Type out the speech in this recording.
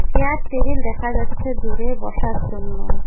Chair table দেখা যাচ্ছে দূরে বসার জন্য।